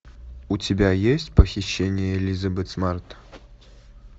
у тебя есть похищение элизабет смарт